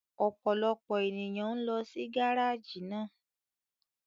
Ọpọlọpọ eniyan n lọ si gáraáji náà